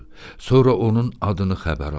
Sonra onun adını xəbər aldı.